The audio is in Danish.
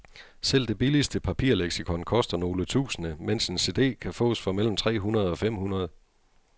Selv det billigste papirleksikon koster nogle tusinde, mens en cd kan fås for mellem tre hundrede og fem hundrede.